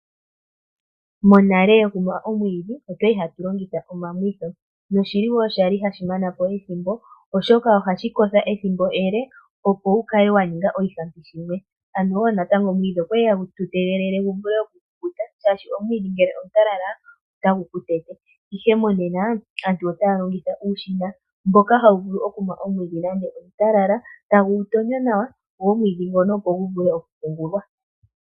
Monale okumwa omwiidhi otwa li hatu longitha omamwitho noshili wo sha li hashi mana po ethimbo, oshoka ohashi kotha ethimbo ele opo wu kale wa ninga oshihampi shimwe ano wo natango omwiidhi otwa li hatu tegelele gu vule oku kukuta shaashi omwiidhi ngele omutalala otagu kutete. Ihe mo nena aantu otaya longitha uushina mboka hawu vulu okumwa omwiidhi nande omutalala tagu gu tonyo nawa go omwiidhi ngono opo gu vule oku pungulwa.